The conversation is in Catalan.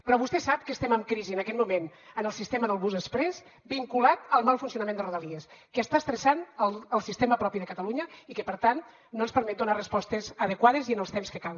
però vostè sap que estem en crisi en aquest moment en el sistema del bus exprés vinculat al mal funcionament de rodalies que està estressant el sistema propi de catalunya i que per tant no ens permet donar respostes adequades i en els temps que cal